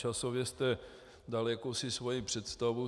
Časově jste dal jakousi svoji představu.